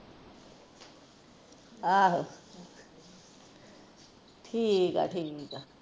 ਆਹੋ ਠੀਕ ਆ ਠੀਕ ਆ